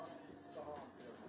Bilirsən ki, sən oyunçusan.